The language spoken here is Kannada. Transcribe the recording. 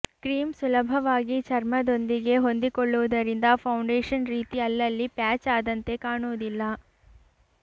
ಕ್ರೀಂ ಸುಲಭವಾಗಿ ಚರ್ಮದೊಂದಿಗೆ ಹೊಂದಿಕೊಳ್ಳುವುದರಿಂದ ಫೌಂಡೇಶನ್ ರೀತಿ ಅಲ್ಲಲ್ಲಿ ಪ್ಯಾಚ್ ಆದಂತೆ ಕಾಣುವುದಿಲ್ಲ